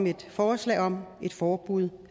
et forslag om et forbud